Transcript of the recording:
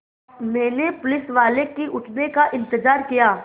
मैंने पुलिसवाले के उठने का इन्तज़ार किया